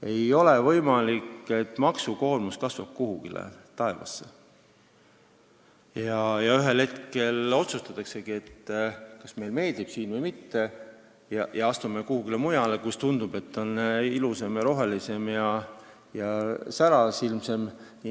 Ei ole võimalik, et maksukoormus kasvab taevasse ja ühel hetkel vaadatakse, kas meile meeldib siin või mitte, ja minnakse kusagile mujale, kus, tundub, elu on ilusam ja rohelisem ja särasilmsem.